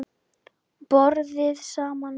BORÐIÐ SAMAN